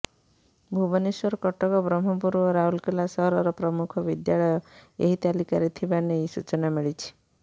ଭୁବନେଶ୍ବର କଟକ ବ୍ରହ୍ମପୁର ଓ ରାଉରକେଲା ସହରର ପ୍ରମୁଖ ବିଦ୍ୟାଳୟ ଏହି ତାଲିକାରେ ଥିବା ନେଇ ସୂଚନା ମିଳିଛି